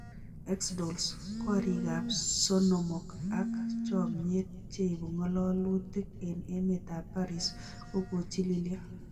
Xdolls: koriik ab sonomok ab chomyet cheibungalolutik en emet ab Paris kogochililio.